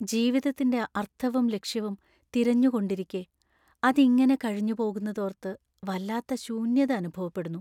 ജീവതത്തിൻ്റെ അർത്ഥവും ലക്ഷ്യവും തിരഞ്ഞുകൊണ്ടിരിക്കെ അതിങ്ങനെ കഴിഞ്ഞുപോകുന്നതോർത്ത് വല്ലാത്ത ശൂന്യത അനുഭവപ്പെടുന്നു.